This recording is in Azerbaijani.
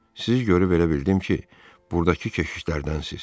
Sizi görüb elə bildim ki, burdakı keşişlərdənsiz.